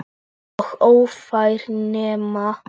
Og ófær nema.